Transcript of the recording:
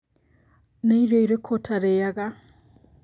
Nĩ irio irĩkũ ũtarĩaga?